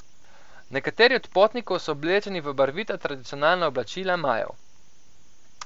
Nekateri od potnikov so oblečeni v barvita tradicionalna oblačila Majev.